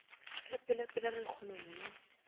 ka pelapela ge kgonono ya